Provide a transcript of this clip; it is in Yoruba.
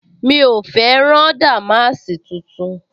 Mi ò fẹ́ rán dàmáàsì tuntun